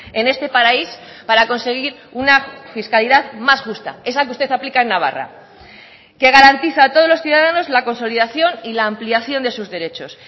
en este país para conseguir una fiscalidad más justa esa que usted aplica en navarra que garantiza a todos los ciudadanos la consolidación y la ampliación de sus derechos